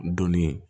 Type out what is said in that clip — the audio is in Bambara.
Donni